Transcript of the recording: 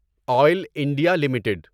oil India limited